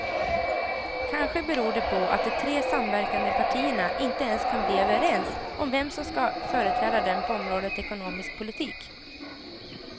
Kanske beror det på att de tre samverkande partierna inte ens kan bli överens om vem som ska företräda dem på området ekonomisk politik.